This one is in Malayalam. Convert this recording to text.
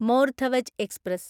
more Dhwaj express